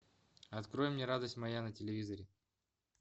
открой мне радость моя на телевизоре